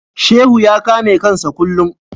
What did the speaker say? Shehu ya kame kansa kullum.